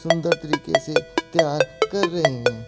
सुंदर तरीके से तैयार कर रहे हैं।